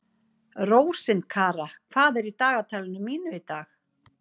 Rósinkara, hvað er í dagatalinu mínu í dag?